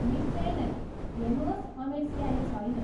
निश्चय नै। हेर्नुहोस् अमेट स्याही छैन।